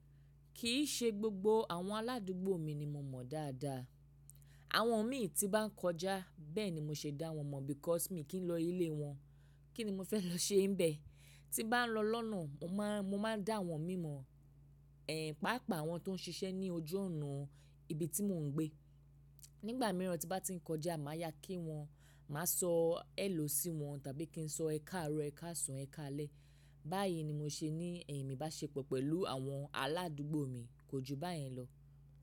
Kì í ṣe gbogbo àwọn aládùúgbò mi ni mo mọ̀ dáadáa. Àwọn imí tí bá ń kọjá bẹ́ẹ̀ ni mo ṣe dá wọn mọ̀ because mi kì n lọ ilé wọn. Kí ni mo fẹ́ lọ ṣe n bẹ̀? Tí n bá ń lọ lọ́nà mo máa, mo máa dà awọ́n imi mọ̀, ẹ̀, pàápàá àwọn tó ń ṣiṣẹ́ ní ojú ọ̀nà ibi tí mò ń gbé. Nígbà mìíràn tí n bá ti ń kọjá máa yá kí wọ́n, màá sọ hello sí wọn tàbí kí n sọ ẹ káàárọ̀, ẹ káàsan, ẹ káalẹ́. Báyìí ni mo ṣe ní ibáṣépọ̀ pẹ̀lú àwọn aládùúgbò mi, kò ju báyen lọ.